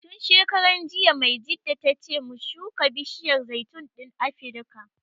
Tun shekaran jiya Maijjida ta ce mu shuka bishiyar zaitun ɗin Afrika